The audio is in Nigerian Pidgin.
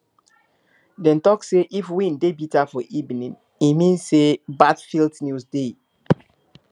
dem talk say if wind dey bitter for evening e mean say bad field news dey